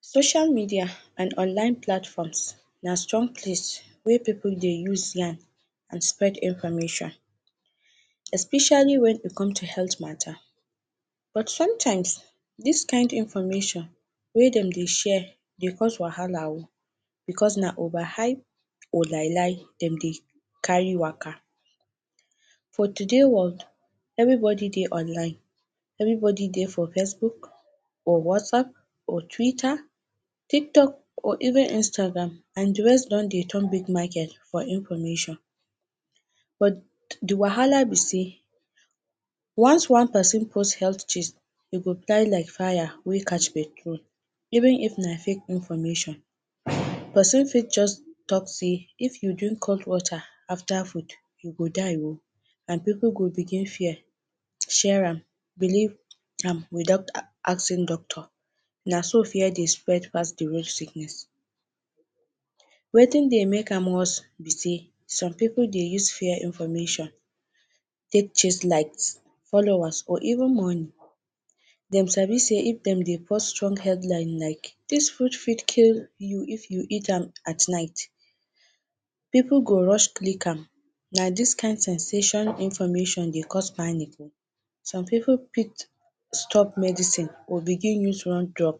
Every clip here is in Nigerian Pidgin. Social media and online platforms na strong place wey pipu dey use am and spread information. Especially when e come to health matter but sometimes, dis kind information wey dem de share de cost wahala o because na over hype or lie lie dem dey carry waka. For today world every body dey online, everybody dey for facebook or whatsaapp or twitter, tiktok or even Instagram and de rest don de turn big market for information. but de wahala be sey once one person post health gist e go like fire wey catch petrol even if na fake information. Person fit just talk sey if you drink cold water after food, you go die o and pipu go begin fear, share am believe am without asking doctor na so fear dey spread pass de really sickness. wetin de make am worse be sey, Some pipu de use fear information take chase likes, followers or even money. Them sabi sey if dem de post strong headline like dis food fit kill you if you eat am at night, pipu go rush click am na dis kind sensation information de cause panic o. some pipu fit stop medicine or begin use one drug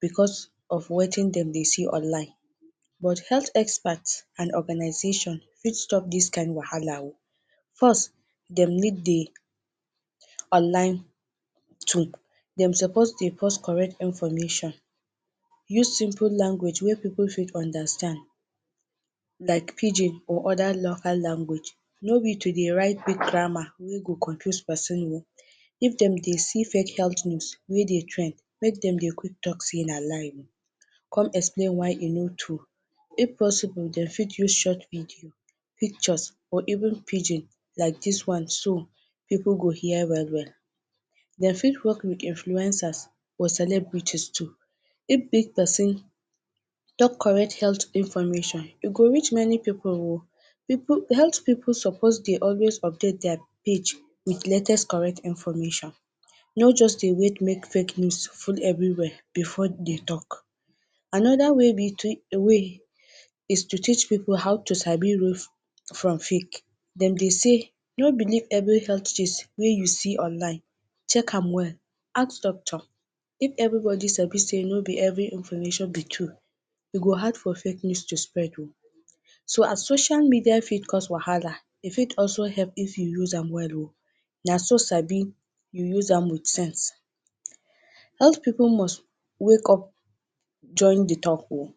because of wetin dem de see online but health expert and organization fit stop dis kind wahala o. First dem need to online tool, dem suppose de post correct information use simple language wey pipu fit understand like pidgin or any other local language no be to de write big grammar wey go de confuse person o if dem de sey fake health news wey dey trend make dem de quick talk sey na lie come explain why e no true if possible dem fit use short video pictures or even pidgin like dis one too so dat pipu go hear well well. Dem fit work with influencers or celebrities too if big person talk correct health information e go reach many pipu o health pipu suppose dey always update page with latest correct information no just de wait make fake news full every where before dey talk. Another way is to teach pipu how to sabi real from fake dem de sey no believe every health news wey you see online, check am well ask doctor if everybody sabi sey no be every information be true e go hard for fake news to spread o. so as social media fit cause wahala e fit also help if you use am well o naso sabi you use am with sense. health pipu must wakeup join de talk o